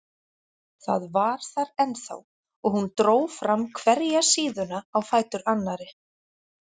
Það var þar ennþá og hún dró fram hverja síðuna á fætur annarri.